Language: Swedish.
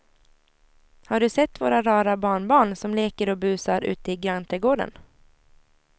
Har du sett våra rara barnbarn som leker och busar ute i grannträdgården!